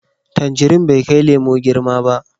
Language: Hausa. Tangirin bai kai lemo girma ba.